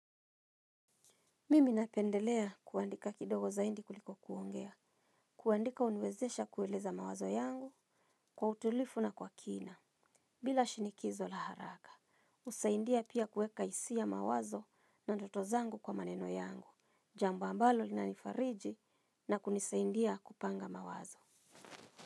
Mimi napendelea kuandika kidogo zaidi kuliko kuongea, kuandika huniwezesha kueleza mawazo yangu kwa utulivu na kwa kina, bila shinikizo la haraka. Husaidia pia kuweka hisia mawazo na ndoto zangu kwa maneno yangu, jambo ambalo linanifariji na kunisaidia kupanga mawazo.